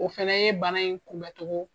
O fɛnɛ ye bana in kunbɛcogo